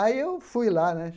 Aí eu fui lá, né?